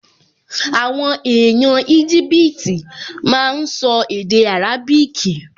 Àwọn èèyàn Íjíbítì máa n sọ èdè árábíkì